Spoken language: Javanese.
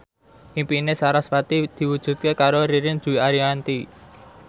impine sarasvati diwujudke karo Ririn Dwi Ariyanti